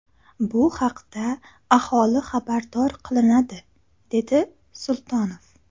Bu haqda aholi xabardor qilinadi”, dedi Sultonov.